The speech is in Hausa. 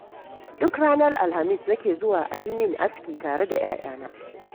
Duk ranar Alhamis nake zuwa a yi min aski tare da 'ya'yana.